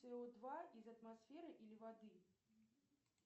цэ о два из атмосферы или воды